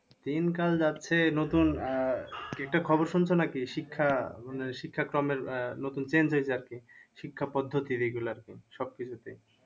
দিনকাল যাচ্ছে নতুন আঃ একটা খবর শুনছো নাকি? শিক্ষা মানে শিক্ষা ক্রমে নতুন change হয়েছে আরকি। শিক্ষা পদ্ধতি regular সবকিছুতেই